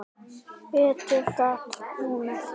Betur gat hún ekki gert.